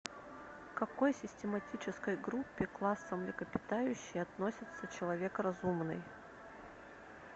в какой систематической группе класса млекопитающие относится человек разумный